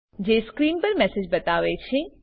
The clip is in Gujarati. જે સ્ક્રીન પર મેસેજ બતાવે છે